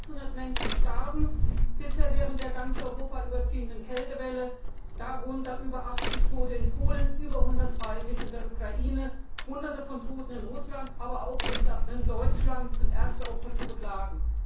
Mehr als 600 Menschen starben bisher während der ganz Europa überziehenden Kältewelle über 80 Tote in Polen, über 130 in der Ukraine, Hunderte von Toten in Russland, und auch in Deutschland sind erste Opfer zu beklagen.